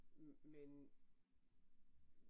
Men